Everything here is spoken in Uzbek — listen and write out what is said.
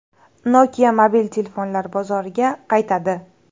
Nokia mobil telefonlar bozoriga qaytadi.